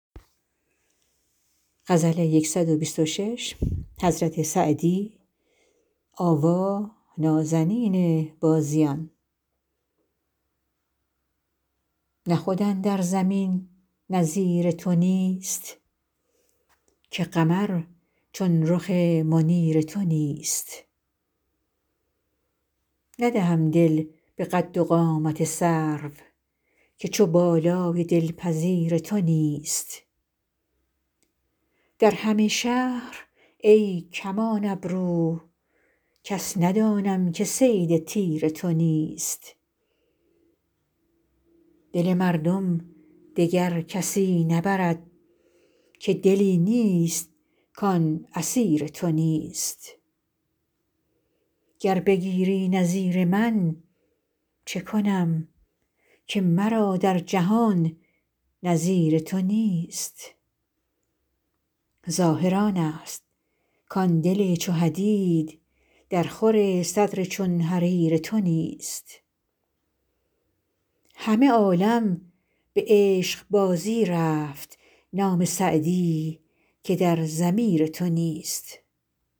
نه خود اندر زمین نظیر تو نیست که قمر چون رخ منیر تو نیست ندهم دل به قد و قامت سرو که چو بالای دلپذیر تو نیست در همه شهر ای کمان ابرو کس ندانم که صید تیر تو نیست دل مردم دگر کسی نبرد که دلی نیست کان اسیر تو نیست گر بگیری نظیر من چه کنم که مرا در جهان نظیر تو نیست ظاهر آنست کان دل چو حدید درخور صدر چون حریر تو نیست همه عالم به عشقبازی رفت نام سعدی که در ضمیر تو نیست